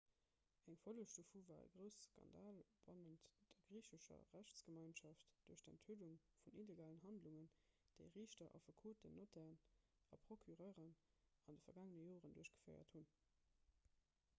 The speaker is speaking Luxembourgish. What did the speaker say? eng folleg dovu war e grousse skandal bannent der griichescher rechtsgemeinschaft duerch d'enthüllung vun illegalen handlungen déi riichter affekoten notairen a procureuren an de vergaangene joren duerchgeféiert hunn